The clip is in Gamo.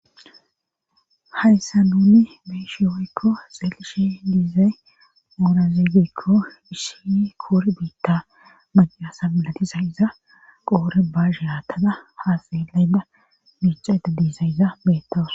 Hayssa nuni beeshe woykko xeelishe diizay oorazeegekko issi koore biitta macasa milatisayyza qoore baashe haattada haasalayda biicada diizayza beettawas.